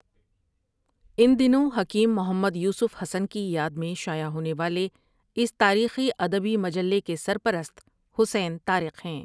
ان دنوں حکیم محمد یوسف حسن کی یاد میں شائع ہونے والے اس تاریخی ادبی مجلے کے سر پرست حسین طارق ہیں ۔